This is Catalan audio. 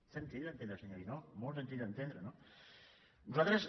és senzill d’entendre senyor guinó molt senzill d’entendre no nosaltres